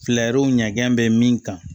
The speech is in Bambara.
Fɛlɛw ɲɛgɛn bɛ min kan